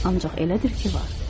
Ancaq elədir ki, var.